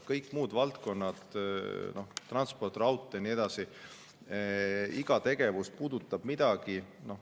Kõik muud valdkonnad, transport, raudtee ja nii edasi, iga tegevus puudutab midagi.